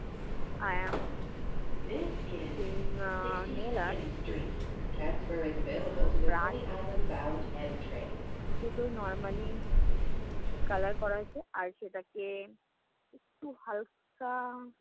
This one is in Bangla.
I am brush দুটোই normally কালার করা হইছে আর সেটাকে একটু হালকা